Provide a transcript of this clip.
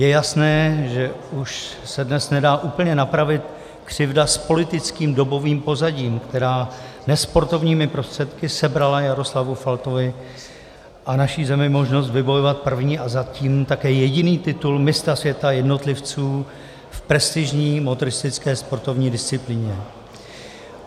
Je jasné, že už se dnes nedá úplně napravit křivda s politickým dobovým pozadím, která nesportovními prostředky sebrala Jaroslavu Faltovi a naší zemi možnost vybojovat první a zatím také jediný titul mistra světa jednotlivců v prestižní motoristické sportovní disciplíně.